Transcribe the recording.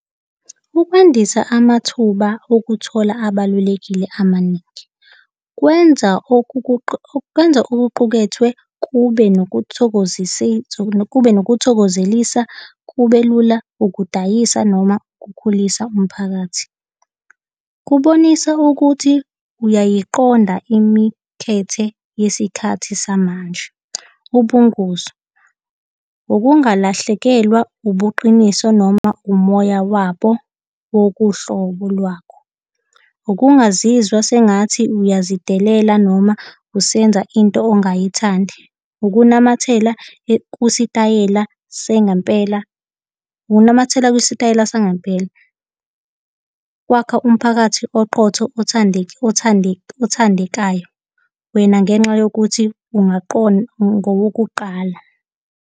Ukwandisa amathuba okuthola abalulekile amaningi, kwenza kwenza okuqukethwe kube nokuthokozisa kube nokuthokozelisa kubelula ukudayisa noma ukukhulisa umphakathi. Kubonisa ukuthi uyayiqonda imikhethe yesikhathi samanje. Ubungozi. Ukungalahlekelwa ubuqiniso noma umoya wabo wokuhlobo lwakho, ukungazizwa sengathi uyazidelela noma usenza into ongayithandi, ukunamathela, kusitayela sengampela, ukunamathela kusitayela sangempela kwakha umphakathi oqotho, othandeka, othandeka, othandekayo mina ngenxa yokuthi ungaqonda ngowokuqala.